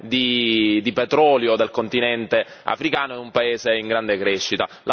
di petrolio del continente africano, è un paese in grande crescita.